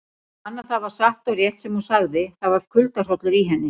Fann að það var satt og rétt sem hún sagði, það var kuldahrollur í henni.